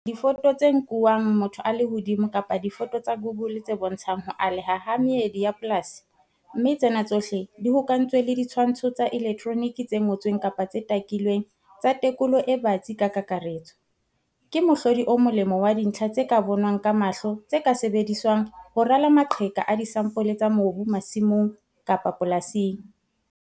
Difoto tse nkuwang motho a le hodimo kapa difoto tsa Google tse bontshang ho aleha ha meedi ya polasi, mme tsena tsohle di hokahantswe le ditshwantsho tsa elektronike tse ngotsweng-takilweng tsa tekolo e batsi ka kakaretso, ke mohlodi o molemo wa dintlha tse ka bonwang ka mahlo tse ka sebediswang ho rala maqheka a disampole tsa mobu masimong-polasing.